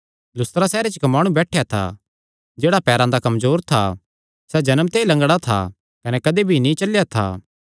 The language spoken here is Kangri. लुस्त्रा सैहरे च इक्क माणु बैठेया था जेह्ड़ा पैरां दा कमजोर था सैह़ जन्म ते ई लंगडा था कने कदी भी नीं चलेया था